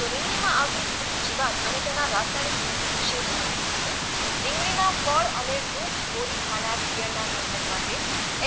તો રીંગણીમાં આવતી વિવિધ જીવાત અને તેના રાસાયણિક નિયંત્રણ વિશે માહિતી મેળવીએ રીંગણીના ફળ અને ડૂંક કોરી ખાનાર ઈયળના નિયંત્રણ માટે